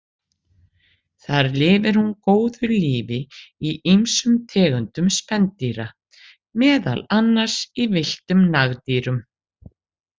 Þar lifir hún góðu lífi í ýmsum tegundum spendýra, meðal annars í villtum nagdýrum.